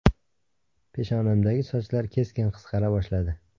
Peshonamdagi sochlar keskin qisqara boshladi.